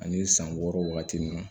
Ani san wɔɔrɔ wagati min na